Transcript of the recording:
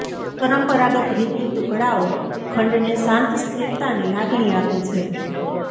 પરંપરાગત રીતની ટુકડાઓ ખંડને શાંત સ્થિરતાની લાગણી આપે છે